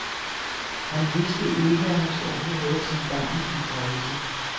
Han vidste ikke, at hans onkel havde sin gang i de kredse.